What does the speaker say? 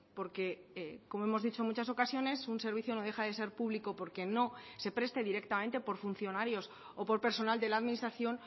porque como hemos dicho en muchas ocasiones un servicio no deja de ser público porque no se preste directamente por funcionarios o por personal de la administración